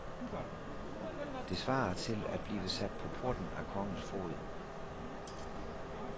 Det svarer til at blive sat på porten af kongens foged.